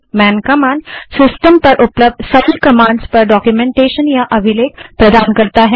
man command system पर सभी उपलब्ध कमांड के बारे में डाक्यूमेन्टेशन या अभिलेख प्रदान करता है